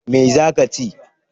Me za ka chi?